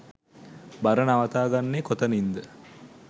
බර නවතා ගන්නේ කොතනින්ද?